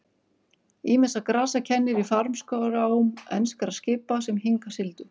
Ýmissa grasa kennir í farmskrám enskra skipa sem hingað sigldu.